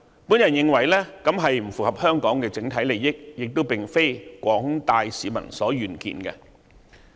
我認為這不符合整體香港利益，亦並非廣大市民所願見。